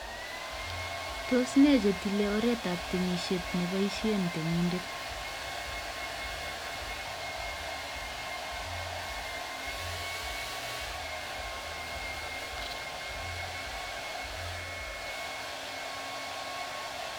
Tos ne chetilei oret ab temishet cheboishe temindet